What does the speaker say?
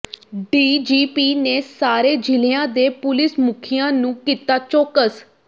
DGP ਨੇ ਸਾਰੇ ਜ਼ਿਲਿ੍ਹਆਂ ਦੇ ਪੁਲਿਸ ਮੁਖੀਆਂ ਨੂੰ ਕੀਤਾ ਚੌਕਸ